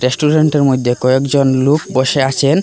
রেস্টুরেন্টের মদ্যে কয়েকজন লোক বসে আছেন।